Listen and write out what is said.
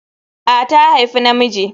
A, ta haifi na miji